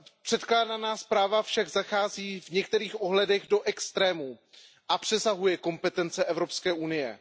Předkládaná zpráva však zachází v některých odhledech do extrémů a přesahuje kompetence Evropské unie.